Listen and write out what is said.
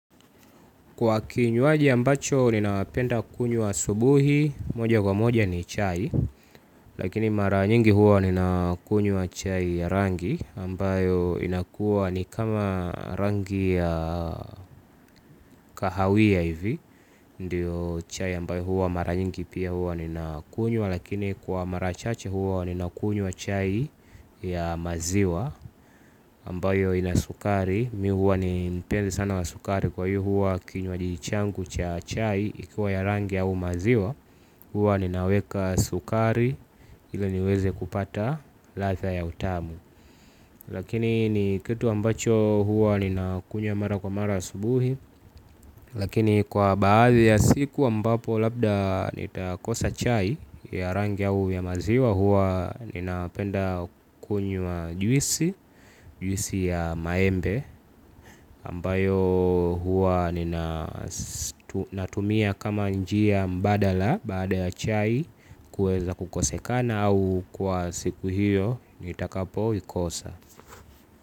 Kwa kinywaji ambacho ninapenda kunywa asubuhi moja kwa moja ni chai lakini mara nyingi huwa ninakunywa chai ya rangi ambayo inakuwa ni kama rangi ya kahawia ivi ndio chai ambayo huwa mara nyingi pia huwa ninakunywa, lakini kwa mara chache huwa ninakunywa chai ya maziwa, ambayo ina sukari. Mi huwa ni mpenzi sana wa sukari kwa hiyo huwa kinwaji changu cha chai ikiwa ya rangi au maziwa huwa ninaweka sukari ili niweze kupata ladha ya utamu lakini ni kitu ambacho huwa ninakunywa mara kwa mara asubuhi lakini kwa baadhi ya siku ambapo labda nitakosa chai ya rangi au ya maziwa huwa ninapenda kunywa juisi juisi ya maembe ambayo huwa nina natumia kama njia mbadala baada ya chai kuweza kukosekana au kwa siku hiyo nitakapoikosa.